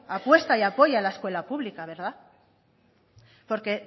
apuesta y apoya la escuela pública verdad porque